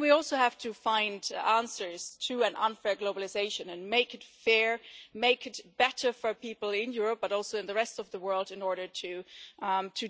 We also have to find answers to an unfair globalisation and make it fair and make it better for people in Europe but also in the rest of the world in order to